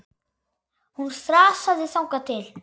Hún þrasaði þangað til.